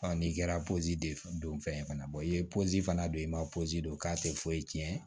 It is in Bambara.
n'i kɛra de ye don fɛn ye fana bɔ i ye fana don i ma don k'a tɛ foyi tiɲɛ